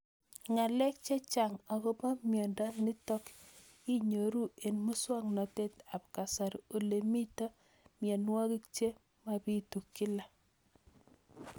Ng'alek chechang' akopo miondo nitok inyoru eng' muswog'natet ab kasari ole mito mianwek che mapitu kila